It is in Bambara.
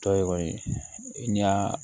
Tɔ ye kɔni n y'a